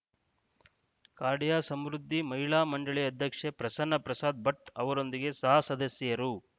ರ್ಕಾಡಿಯ ಸಮೃದ್ಧಿ ಮಹಿಳಾ ಮಂಡಳಿಯ ಅಧ್ಯಕ್ಷೆ ಪ್ರಸನ್ನ ಪ್ರಸಾದ್‌ ಭಟ್‌ ಅವರೊಂದಿಗೆ ಸಹ ಸದಸ್ಯೆಯರು